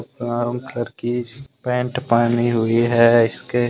Brown colour की इस pant पहनी हुई है। इसके।